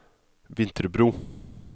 Vinterbro